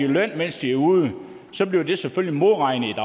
løn mens de er ude så bliver det selvfølgelig modregnet i